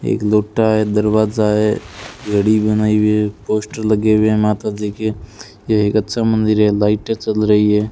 एक लोटा है दरवाजा है घड़ी बनाई हुई है पोस्टर लगे हुए हैं माता जी के ये एक अच्छा मंदिर है लाइटें चल रही है।